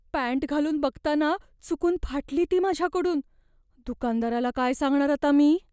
Pant घालून बघताना चुकून फाटली ती माझ्याकडून. दुकानदाराला काय सांगणार आता मी?